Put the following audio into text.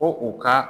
Ko u ka